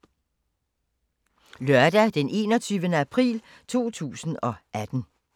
Lørdag d. 21. april 2018